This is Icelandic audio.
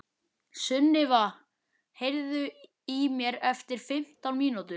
Sunniva, heyrðu í mér eftir fimmtán mínútur.